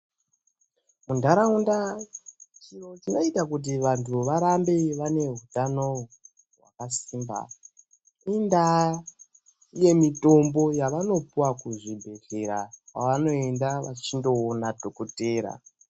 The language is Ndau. Mundaraunda chinoita kuti vantu varambe vane hutano hwakasimba inda yemitombo yavanopiwa kuzvibhedhlera kwavanoenda vachindoona dhokoteya.